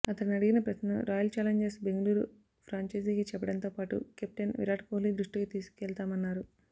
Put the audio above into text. అతనడిగిన ప్రశ్నను royal challengers Bengaluru ఫ్రాంఛైజీకి చెప్పడంతో పాటు కెప్టెన్ విరాట్ కోహ్లీ దృష్టికి తీసుకెళ్తామన్నారు